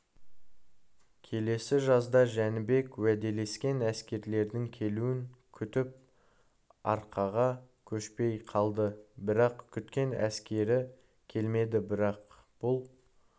келесі жазда жәнібек уәделескен әскерлердің келуін күтіп арқаға көшпей қалды бірақ күткен әскері келмеді бірақ бұл